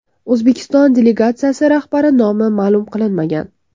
O‘zbekiston delegatsiyasi rahbari nomi ma’lum qilinmagan.